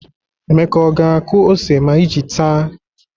Emeka ọ ga-akụ ose ma iji táá?